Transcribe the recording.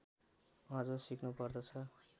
अझ सिक्नु पर्छ